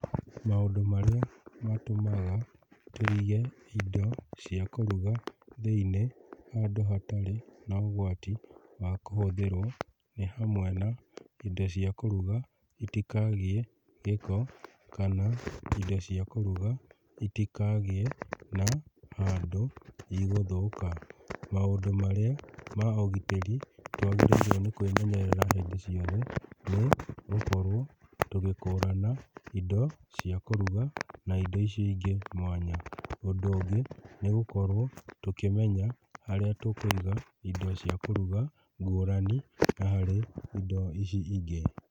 Maũndũ marĩa matũmaga tũige indo cia kũruga thĩinĩ handũ hatarĩ na ũgwati wa kũhũthĩrwo nĩ hamwe na; indo cia kũruga itikagĩe gĩko kana indo cia kũruga itikagĩe na handũ igũthũka. Maũndũ marĩa ma ũgitĩri twagĩrĩirwo nĩ kwĩmenyerera hĩndĩ ciothe nĩ gũkorwo tũgĩkũrana indo cia kũruga na indo icio ingĩ mwanya. Ũndũ ũngĩ nĩ gũkorwo tũkĩmenya harĩa tũkũiga indo cia kũruga ngũrani na harĩ indo ici ingĩ.